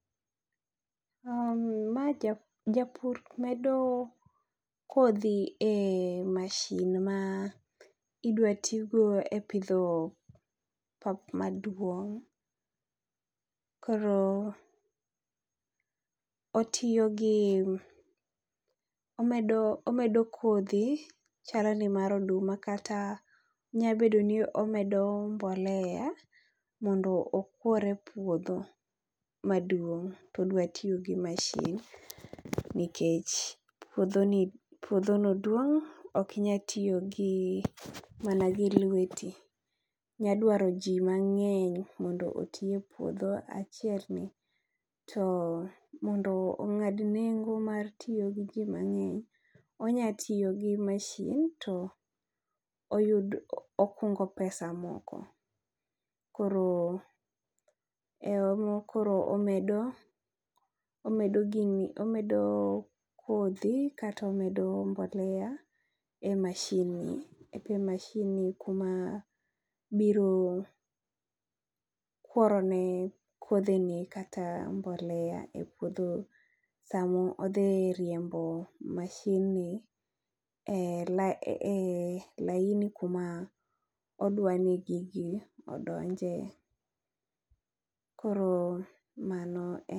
Ma jap, japur medo kodhi e mashin ma idwa tigo e pidho pap maduong'. Koro otiyo gi omedo, omedo kodhi chalo ni mar oduma. Kata nya bedo ni omedo mbolea mondo okwor e puodho maduong' todwa tiyo gi mashin. Nikech puodho ni, puodho no duong', okinya tiyo gi mana gi lweti. Inya dwaro ji mang'eny mondo oti e puodho achiel ni. To mondo ong'ad nengo mar tiyo gi ji mang'eny, onya tiyo gi mashin to oyudo okungo pesa moko. Koro e mo koro omedo, omedo gini omedo kodhi kato omedo mbolea e mashin ni. E mashin ni kuma biro kworone kodhi ni kata mbolea e puodho samo odhi riembo mashin ni e laini kuma odwani gigi odonje. Koro mano en.